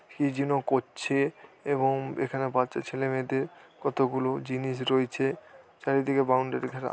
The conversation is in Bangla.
কি যেন করছে এবং এখানে বাচ্চা ছেলে মেয়েদের কতগুলো জিনিস রয়েছে। চারিদিকে বাউন্ডারি ঘেরা।